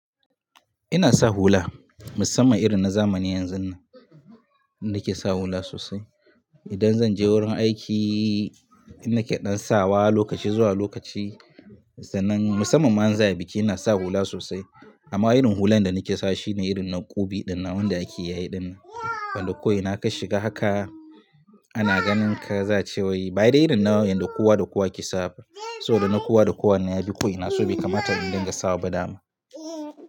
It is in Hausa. Ina sa hula, musamman irin na zamani yanzun nan inda ke sa hula sosai. Idan zan je wurin aiki, ina ke ɗan sawa lokaci zuwa lokaci sannan musamman ma in za'a biki, ina sa hula sosai. Amma irin hulan da nake sawa shine irin na ƙube ɗin nan wanda ake yayi ɗin. Wanda ko ina ka shiga haka ana ganin ka za ce wai, "bai da irin na wayanda kowa da kowa ke sawa." So da na kowa da kowa na yabi ko ina so bai kamata in dinga sawa ba dama.